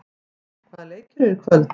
Vagn, hvaða leikir eru í kvöld?